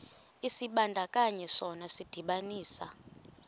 isibandakanyi sona sidibanisa